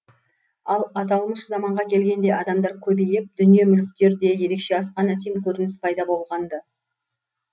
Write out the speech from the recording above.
ал аталмыш заманға келгенде адамдар көбейіп дүние мүліктер де ерекше асқан әсем көрініс пайда болған ды